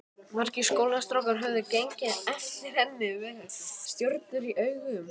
Margir skólastrákar höfðu gengið eftir henni með stjörnur í augum.